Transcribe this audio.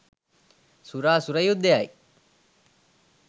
සුර අසුර යුද්ධයයි.